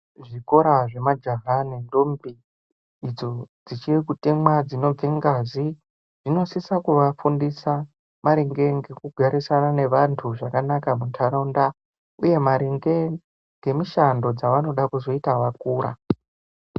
Kuzvikora zvemajaha nendombi idzo dzichirikutemwa dzinobve ngazi dzinosisa kuvafundia maringe nekugarisana nevantu muntaraunda uye maringe ngemishando dzavanoda kuzoita vakura.